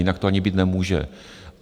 Jinak to ani být nemůže.